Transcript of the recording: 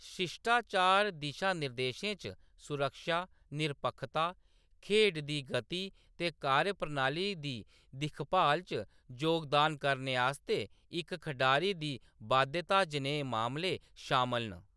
शिश्टाचार दिशा-निर्देशें च सुरक्षा, निरपक्खता, खेढ दी गति ते कार्यप्रणाली दी दिक्खभाल च जोगदान करने आस्तै इक खढारी दी बाध्यता जनेह् मामले शामल न।